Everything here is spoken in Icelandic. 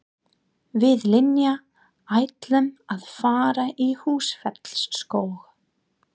Við Linja ætlum að fara í Húsafellsskóg.